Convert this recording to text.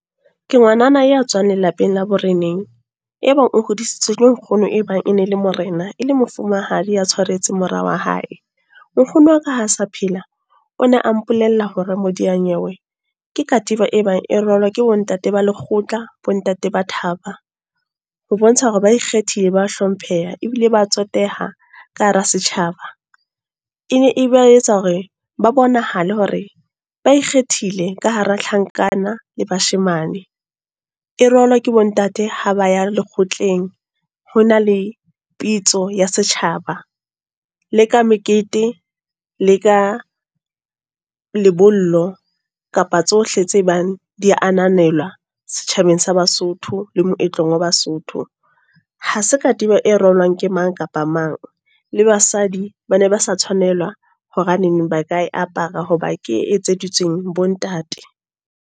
Ke ngwanana ya tswang lelapeng la boreneng. E bang o hodisitswe ke nkgono e bang e ne le Morena, e le Mofumahadi ya tshwaretse mora wa hae. Nkgono wa ka ha sa phela, o ne a mpolella hore Modiyanyewe, ke katiba e bang e rwalwa ke bo ntate ba lekgotla, bo ntate ba thaba. Ho bontsha hore ba ikgethile, ba hlompheha ebile ba tsoteha ka hara setjhaba. E ne e ba etsa hore ba bonahale hore ba ikgethile ka hara tlhankana le bashemane. E rwalwa ke bo ntate ha ba ya lekgotleng, ho na le pitso ya setjhaba. Le ka mekete, le ka lebollo, kapa tsohle tse bang di ananela setjhabeng sa Basotho le moetlong wa Basotho. Ha se katiba e ke mang kapa mang. Le basadi ba ne ba sa Tshwanela, hobaneng ba ka e apara hoba ke e etseditsweng bo ntate.